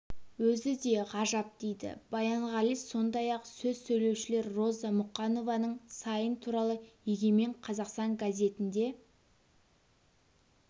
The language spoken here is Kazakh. өзі де ғажап дейді баянғали сондай-ақ сөз сөйлеушілер роза мұқанованың сайын туралы егемен қазақстан газетінде